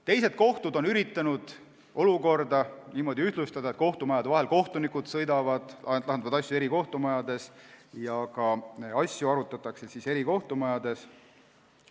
Teised kohtud on üritanud olukorda niimoodi ühtlustada, et kohtunikud sõidavad kohtumajade vahel, lahendavad asju eri kohtumajades ja asju ka arutatakse eri kohtumajades.